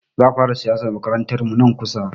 Za a fara siyasar makarantarmu nan kusa.